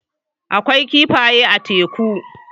Akwai kifaye a teku.